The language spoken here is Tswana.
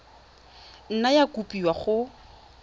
nna ya kopiwa kwa go